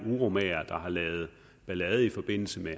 uromagere der har lavet ballade i forbindelse med